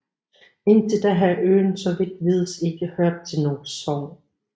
Indtil da havde øen så vidt vides ikke hørt til noget sogn